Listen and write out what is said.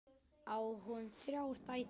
Á hún þrjár dætur.